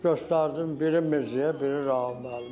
Göstərdim biri Mirzəyə, biri Rauf müəllimə.